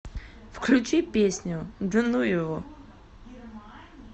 включи песню да ну его